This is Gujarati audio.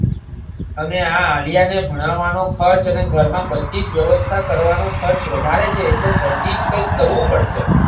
અને આ આલ્યા ને ભણાવવાનો ખર્ચ અને ઘરમાં બધીજ વ્યવસ્થા કરવાનો ખર્ચ વધારે છે એટલે જલ્દી જ કંઈક કરવુ પડશે